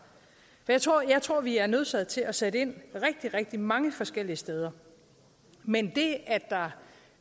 jeg tror vi er nødsaget til at sætte ind rigtig rigtig mange forskellige steder men det